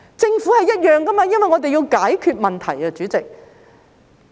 政府也是一樣，因為我們要解決問題，主席。